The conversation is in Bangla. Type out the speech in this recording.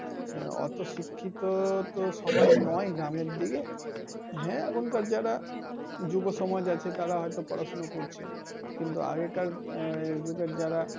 আহ অত শিক্ষিত তো সবাই নয় গ্রামের দিকে। হ্যা এখনকার যারা যুবসমাজ আছে তারা হয়তো পড়াশোনা করছে। কিন্তু আগেকার আহ যুগের যারা,